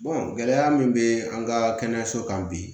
gɛlɛya min bɛ an ka kɛnɛyaso kan bi